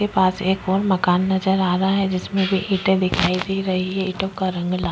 के पास एक और मकान नजर आ रहा है जिसमें की ईटें दिखाई दे रहे हैं। ईटों का रंग लाल --